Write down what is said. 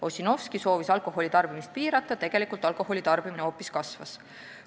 Ossinovski soovis alkoholi tarbimist piirata, tegelikult alkoholi tarbimine hoopis kasvas.